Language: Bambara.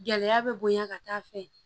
Gɛlɛya bɛ bonya ka taa fɛ